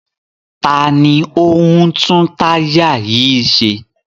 Ta ni ó ń tún táyà yìí ṣe?